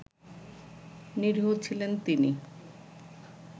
নিরীহ ছিলেন তিনি